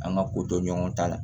An ka ko to ɲɔgɔn ta la